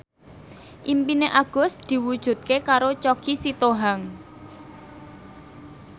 impine Agus diwujudke karo Choky Sitohang